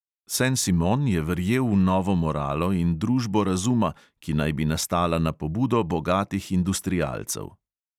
Sen simon je verjel v novo moralo in družbo razuma, ki naj bi nastala na pobudo bogatih industrialcev.